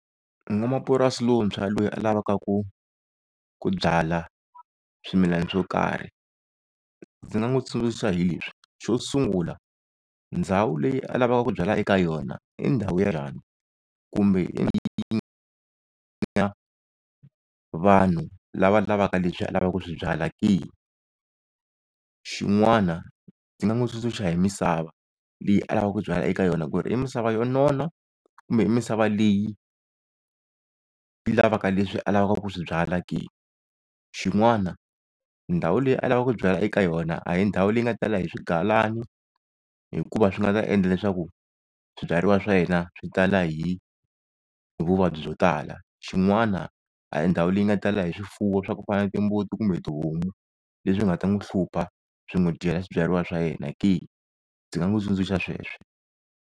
N'wamapurasi lontshwa loyi a lavaka ku ku byala swimilana swo karhi ndzi nga n'wi tsundzuxa hileswi, xo sungula ndhawu leyi a lavaka ku byala eka yona i ndhawu ya rirhandzu kumbe yi nga na vanhu lava lavaka leswi a lavaka swi byala kwihi ke. Xin'wana ndzi nga n'wi tsundzuxa hi misava leyi a lavaka ku byala eka yona ku ri i misava yo nona, kumbe i misava leyi yi lavaka leswi a lavaka ku swi byala ke. Xin'wana ndhawu leyi a lavaka ku byala eka yona a hi ndhawu leyi nga tala hi swigalani hikuva swi nga ta endla leswaku swibyariwa swa yena swi tala hi hi vuvabyi byo tala. Xin'wana a ndhawu leyi nga tala hi swifuwo swa ku fana na timbuti kumbe tihomu leswi nga ta n'wi hlupha swi n'wi dyela swibyariwa swa yena ke, ndzi nga n'wi tsundzuxa sweswo.